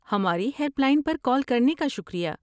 ہماری helpline پر call کرنے کا شکریہ۔